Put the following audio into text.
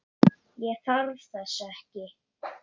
Ég þarf þess ekki.